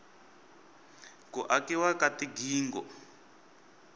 ku akiwa ka tigingho